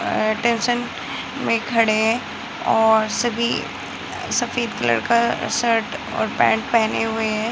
Attention में खड़ें हैं और सभी सफ़ेद कलर का शर्ट और पैंट पहने हुए हैं।